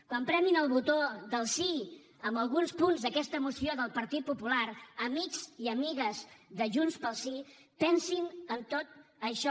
quan premin el botó del sí en alguns punts d’aquesta moció del partit popular amics i amigues de junts pel sí pensin en tot això